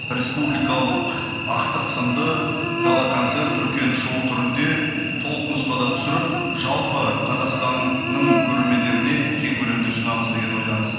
республикалық ақтық сынды гала концерт үлкен шоу түрінде толық нұсқада түсіріп жалпы қазақстанның көрермендеріне кең көлемде ұсынамыз деген ойдамыз